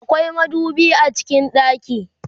akwai madubi a cikin ɗaki